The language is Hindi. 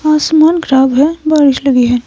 आसमान खराब है बारिश लगी है।